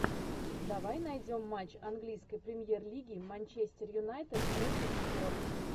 давай найдем матч английской премьер лиги манчестер юнайтед против шпор